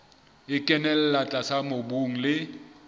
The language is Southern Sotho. e kenella tlase mobung le